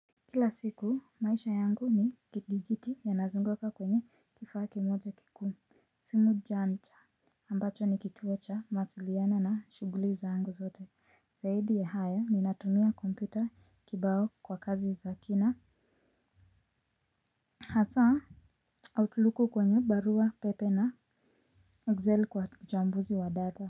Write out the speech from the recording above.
Kila siku maisha yangu ni kidijiti yanazunguka kwenye kifaa kimoja kikuu. Simu janja ambacho ni kituo cha mawasiliano na shuguli zangu zote zaidi ya haya ninatumia kompyuta kibao kwa kazi za kina. Hasa outlooku kwenye barua pepe na excel kwa uchambuzi wa data.